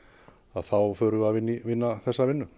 þá förum við að vinna þessa vinnu